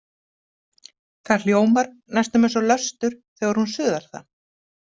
Það hljómar næstum eins og löstur þegar hún suðar það.